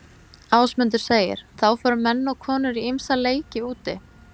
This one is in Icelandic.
Ásmundur segir: Þá fóru menn og konur í ýmsa leiki úti.